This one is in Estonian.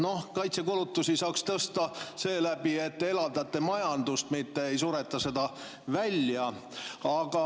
Noh, kaitsekulutusi saaks tõsta seeläbi, et elavdate majandust, mitte ei sureta seda välja.